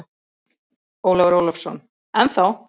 Ólafur Ólafsson: Ennþá.